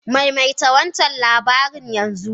Maimaita wancan labarin yanzu!